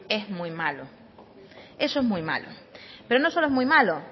es muy malo es muy malo pero no solo es muy malo